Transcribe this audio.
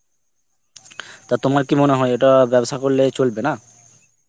তা তোমার কি মনে হয় এটা ব্যবসা করলে চলবে, না?